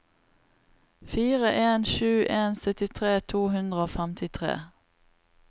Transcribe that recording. fire en sju en syttitre to hundre og femtitre